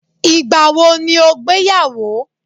igbawo ni o gbeyawo